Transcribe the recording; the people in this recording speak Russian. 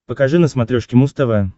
покажи на смотрешке муз тв